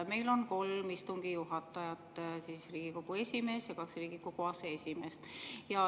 Meil on kolm istungi juhatajat: Riigikogu esimees ja kaks Riigikogu aseesimeest.